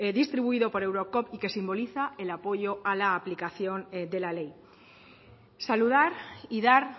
distribuido por eurocop y que simboliza el apoyo a la aplicación de la ley saludar y dar